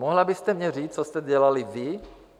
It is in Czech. Mohla byste mě říct, co jste dělali vy?